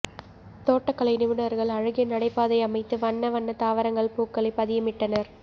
தோட்டகலை நிபுணர்கள் அழகிய நடைபாதை அமைத்து வண்ன வண்ண தாவரங்கள் பூக்களை பதியமிட்டனர்